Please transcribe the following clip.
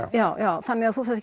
já já þannig þú þarft